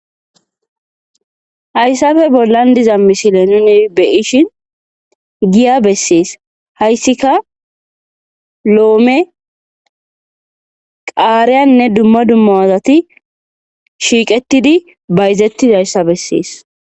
hayssafe bollan diza mishile nune beishin giya bessees hayssika loome qaariyanne dumma dumma azati shiiqetidi bayzettidayssa bessees